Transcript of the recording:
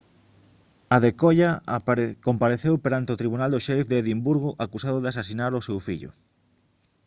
adekoya compareceu perante o tribunal do sheriff de edimburgo acusado de asasinar o seu fillo